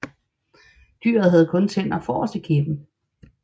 Dyret havde kun tænder forrest i kæben